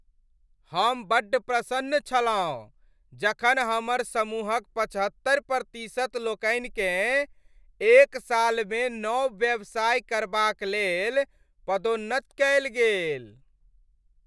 हम बड्ड प्रसन्न छलहुँ जखन हमर समूहक पचहत्तरि प्रतिशत लोकनिकेँ एक सालमे नव व्यवसाय करबाक लेल पदोन्नत कयल गेल।